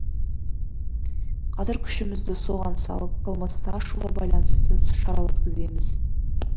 қазір күшімізді соған салып қылмысты ашуға байланысты іс шара өткіземіз